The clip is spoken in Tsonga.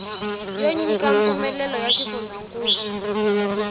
yo nyika mpfumelelo wa xifundzankulu